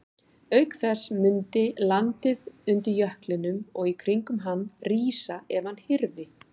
Auk þess mundi landið undir jöklinum og í kringum hann rísa ef hann hyrfi.